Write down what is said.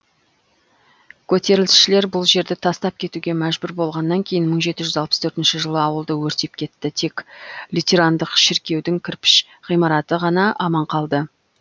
көтерілісшілер бұл жерді тастап кетуге мәжбүр болғаннан кейін мың жеті жүз алпыс төртінші жылы ауылды өртеп кетті тек лютерандық шіркеудің кірпіш ғимараты ғана аман қалды